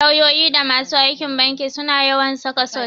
Lauyoyi da masu aikin banki suna yawan saka sut.